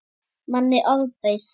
Manni ofbauð.